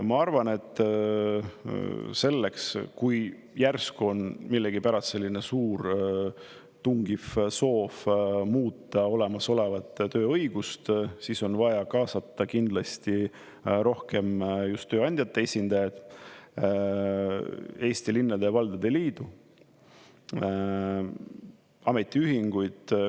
Ma arvan, et selleks, kui järsku on millegipärast selline suur tungiv soov muuta olemasolevat tööõigust, siis on vaja kaasata kindlasti rohkem just tööandjate esindajaid, Eesti Linnade ja Valdade Liitu, ametiühinguid.